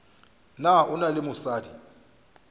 na o na le mosadi